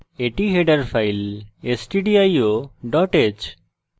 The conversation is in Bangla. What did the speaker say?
এটি header file stdio h